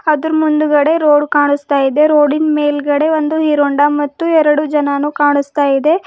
ಅದ್ರು ಮುಂದ್ಗಡೆ ರೋಡ್ ಕಾಣಸ್ತಾಯಿದೆ ರೋಡಿ ನ್ ಮೇಲ್ಗಡೆ ಒಂದು ಹೀರೋ ಹೊಂಡ ಮತ್ತು ಎರಡು ಜನನೂ ಕಾಣುಸ್ತಾ ಇದೆ.